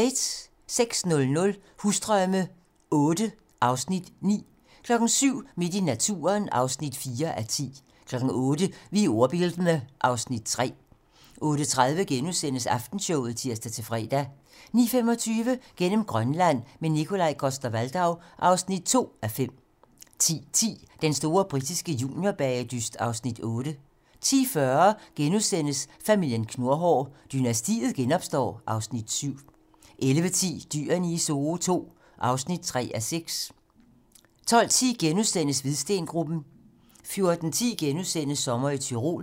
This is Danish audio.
06:00: Husdrømme VIII (Afs. 9) 07:00: Midt i naturen (4:10) 08:00: Vi er ordbildne (Afs. 3) 08:30: Aftenshowet *(tir-fre) 09:25: Gennem Grønland – med Nikolaj Coster-Waldau (2:5) 10:10: Den store britiske juniorbagedyst (Afs. 8) 10:40: Familien Knurhår: Dynastiet genopstår (Afs. 7)* 11:10: Dyrene i Zoo II (3:6) 12:10: Hvidstengruppen * 14:10: Sommer i Tyrol *